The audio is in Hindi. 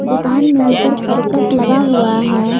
दुकान में ऊपर करकट लगा हुआ है।